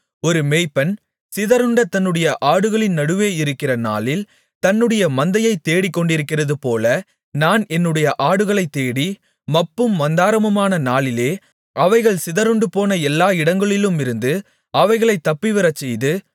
ஒரு மேய்ப்பன் சிதறுண்ட தன்னுடைய ஆடுகளின் நடுவே இருக்கிற நாளில் தன்னுடைய மந்தையைத் தேடிக்கொண்டிருக்கிறதுபோல நான் என்னுடைய ஆடுகளைத்தேடி மப்பும் மந்தாரமுமான நாளிலே அவைகள் சிதறுண்டுபோன எல்லா இடங்களிலுமிருந்து அவைகளைத் தப்பிவரச்செய்து